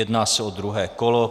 Jedná se o druhé kolo.